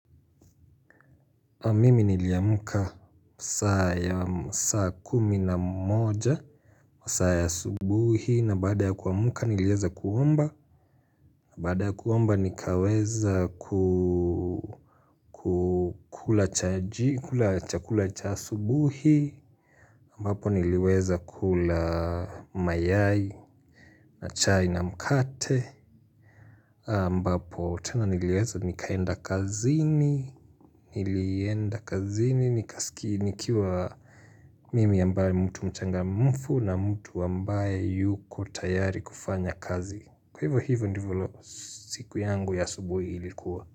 Mimi niliamka saa kumi na moja wa saa ya asubuhi na baada ya kuamka niliweza kuomba na baada ya kuomba nikaweza kukula chakula cha asubuhi ambapo niliweza kula mayai na chai na mkate AMbapo tena niliweza nikaenda kazini nilienda kazini nika sikiwa mimi ambaye mtu mchangamfu na mtu ambaye yuko tayari kufanya kazi. Kwa hivyo hivo ndivyo siku yangu ya asubuhi ilikuwa.